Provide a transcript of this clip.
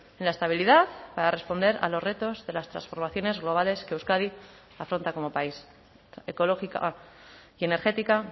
en la estabilidad para responder a los retos de las transformaciones globales que euskadi afronta como país ecológica y energética